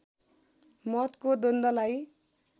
मतको द्वन्द्वलाई